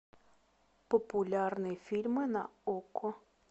популярные фильмы на окко